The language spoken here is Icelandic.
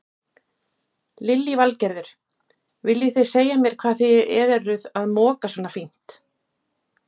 Lillý Valgerður: Viljið þið segja mér hvað þið eruð að moka svona fínt?